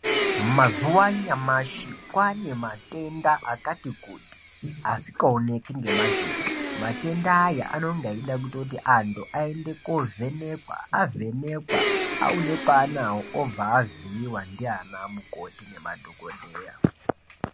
Mazuwa anyamashi kwane matenda akati kuti asingawoneki ngemadziso. Matenda aya anenge eyida kuti antu ayende kovhenekwa, avhenekwa obva avhiyiwa ndiana mukoti nemadhokodheya.